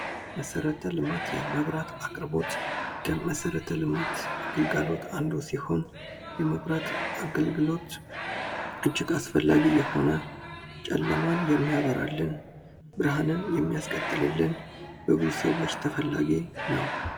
መሰረተ ልማት የመብራት አቅርቦት ከመሰረተ ልማት ግልጋሎት አንዱ ሲሆን የመብራት አገልግሎት እጅግ አስፈላጊ የሆነ ጨለማን የሚያበራልን፣ ብርሃንን የሚያስቀጥልልን ፣በብዙ ሰዎች ተፈላጊ ነው።